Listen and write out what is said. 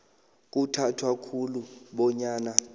kuthathwa khulu bonyana